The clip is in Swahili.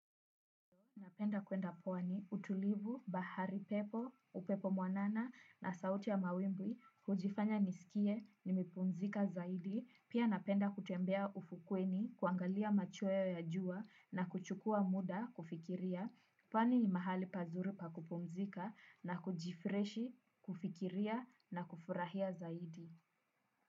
Napenda kwenda pwani utulivu bahari pepo, upepo mwanana na sauti ya mawimbi, hujifanya nisikie, nimepumzika zaidi, pia napenda kutembea ufukweni, kuangalia machweo ya jua na kuchukua muda, kufikiria, pwani ni mahali pazuri pakupumzika na kujifreshi, kufikiria na kufurahia zaidi.